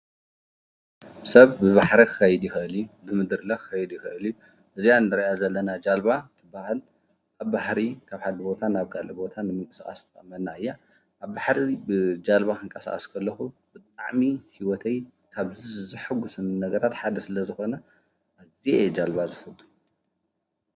ሰብ ብባሕሪ ክኸይድ ይኽእል እዩ ብምድሪለ ክኸይድ ይኽእል እዩ እዚኣ ንሪኣ ዘለና ጃልባ ትበሃል። ኣብ ባሕሪ ካብ ሓደ ቦታ ናብ ካሊእ ቦታ ንምንቅስቓስ ትጠቅመና እያ። ኣብ ባሕሪ ብጃልባ ክንቀሳቀስ ከለኹ ብጣዕሚ ሂወተይ ካብ ዘሕጉሰኒ ነገራት ሓደ ስለ ዝኮነ ኣዝየ እየ ጃልባ ዝፈቱ።